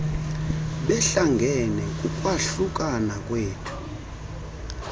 behlangene kukwahlukana kwethu